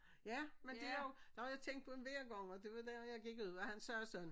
Ja men det er jo når jeg tænkte på det hver gang og det var dengang jeg gik ud og han sagde sådan